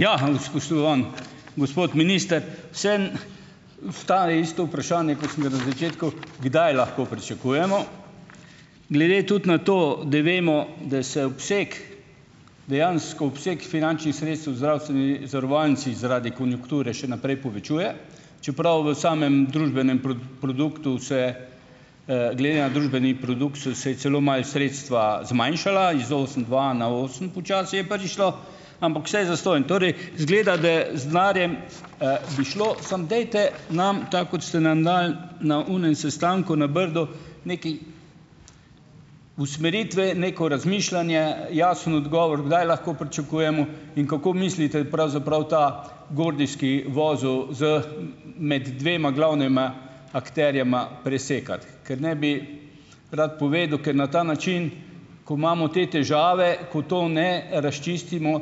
Ja, spoštovani gospod minister, vseeno ostaja isto vprašanje, kot sem ga na začetku - kdaj lahko pričakujemo? Glede tudi na to, da vemo, da se obseg, dejansko obseg finančnih sredstev v zdravstveni zavarovalnici zaradi konjunkture še naprej povečuje, čeprav v samem družbenem produktu se ... glede na družbeni produkt so se celo malo sredstva zmanjšala - iz osem dva na osem počasi je prvič šlo, ampak vse zastonj. Torej izgleda, da z denarjem, bi šlo, samo dajte nam tako, kot ste nam dali na onem sestanku na Brdu, nekaj usmeritve, neko razmišljanje, jasen odgovor, kdaj lahko pričakujemo in kako mislite, pravzaprav, ta gordijski vozel za med dvema glavnima akterjema presekati. Ker ne bi rad povedal, ker na ta način, ko imamo te težave, ko to ne razčistimo,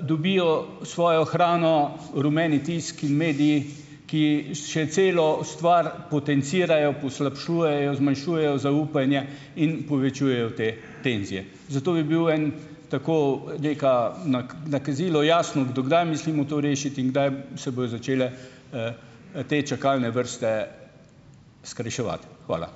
dobijo svojo hrano rumeni tiski in mediji, ki še celo stvar potencirajo, poslabšujejo, zmanjšujejo zaupanje in povečujejo te tenzije. Zato bi bil eno tako neko nakazilo jasno, do kdaj mislimo to rešiti in kdaj se bojo začele, te čakalne vrste skrajševati. Hvala.